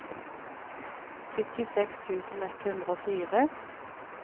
syttiseks tusen ett hundre og fire